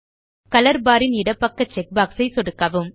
colour bar ன் இடப்பக்க checkbox ஐ சொடுக்கவும்